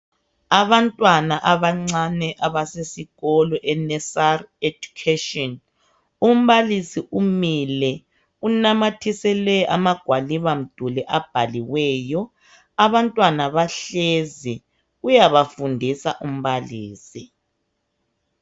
Abantwana abancane abasesikolo enesari ejukheshini umbalisi umile unamathisele amagwaliba mduli abhaliweyo abantwana bahlezi uyabafundisa umbalisi.